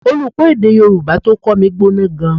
Olùkọ́ èdè Yorùbá tó kọ́ mi gbóná gan-an